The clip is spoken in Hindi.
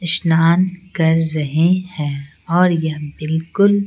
स्नान कर रहे हैं और यह बिल्कुल--